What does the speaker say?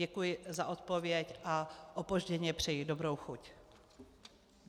Děkuji za odpověď a opožděně přeji dobrou chuť.